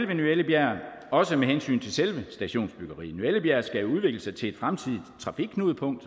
ved ny ellebjerg også med hensyn til selve stationsbyggeriet ny ellebjerg skal jo udvikle sig til et fremtidigt trafikknudepunkt